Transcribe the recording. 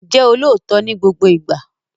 Jẹ́ olóòtọ́ ni gbogbo ìgbà!